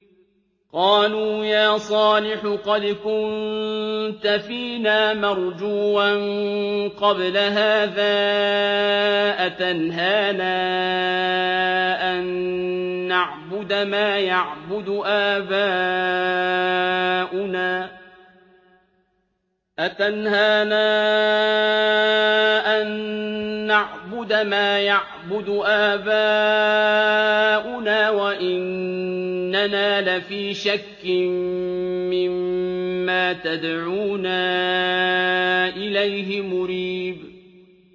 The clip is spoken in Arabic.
قَالُوا يَا صَالِحُ قَدْ كُنتَ فِينَا مَرْجُوًّا قَبْلَ هَٰذَا ۖ أَتَنْهَانَا أَن نَّعْبُدَ مَا يَعْبُدُ آبَاؤُنَا وَإِنَّنَا لَفِي شَكٍّ مِّمَّا تَدْعُونَا إِلَيْهِ مُرِيبٍ